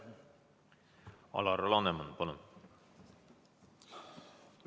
Alar Laneman, palun!